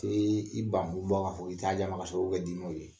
Tee i ban kun bɔ ka fɔ k'i t'a di a ma k'a sɔrɔ u bɛ di n'o ye.